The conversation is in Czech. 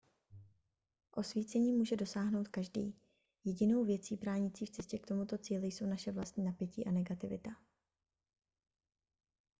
osvícení může dosáhnout každý jedinou věcí bránící v cestě k tomuto cíli jsou naše vlastní napětí a negativita